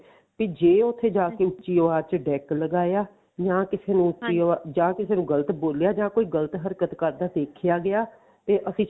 ਤੇ ਜੇ ਉੱਥੇ ਜਾ ਕੇ ਉੱਚੀ ਆਵਾਜ਼ ਚ deck ਲਗਾਇਆ ਜਾਂ ਕਿਸੇ ਜਾਂ ਕਿਸੇ ਨੂੰ ਗਲਤ ਬੋਲਿਆ ਜਾਂ ਕੋਈ ਗਲਤ ਹਰਕਤ ਕਰਦਾ ਦੇਖਿਆ ਗਿਆ ਤੇ ਅਸੀਂ